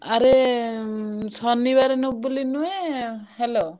ଆରେ ଶନିବାରେ ବୋଲି ନୁହ hello ।